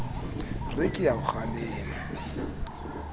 re ke a o kgalema